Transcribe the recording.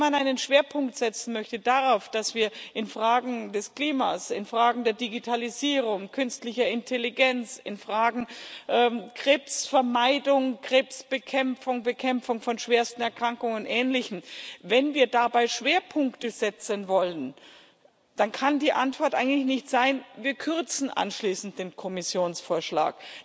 Wenn man einen Schwerpunkt setzen möchte darauf, dass wir in Fragen des Klimas, in Fragen der Digitalisierung, künstlicher Intelligenz, in Fragen Krebsvermeidung, Krebsbekämpfung, Bekämpfung von schwersten Erkrankungen und ähnlichem, wenn wir dabei Schwerpunkte setzen wollen, dann kann die Antwort eigentlich nicht sein Wir kürzen anschließend den Kommissionsvorschlag.